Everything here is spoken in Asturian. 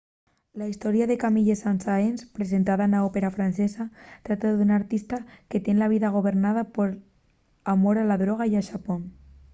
la historia de camille saint-saens presentada na ópera francesa trata d’un artista que tien la vida gobernada pol amor a la droga y a xapón.